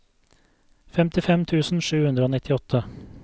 femtifem tusen sju hundre og nittiåtte